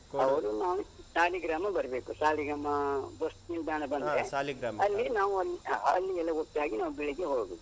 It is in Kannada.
ಅವ್ರು ನಾವು ಸಾಲಿಗ್ರಾಮ ಬರ್ಬೇಕು ಸಾಲಿಗ್ರಾಮ ಬಸ್ ನಿಲ್ದಾಣ ಬಂದ್ರೆ ಅಲ್ಲಿ ನಾವು ಒಂದ್ ಹಾ ಅಲ್ಲಿಯೆಲ್ಲ ಒಟ್ಟಾಗಿ ನಾವು ಬೆಳಗ್ಗೆ ಹೊರಡುದು.